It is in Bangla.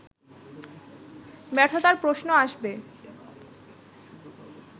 ব্যর্থতার প্রশ্ন আসবে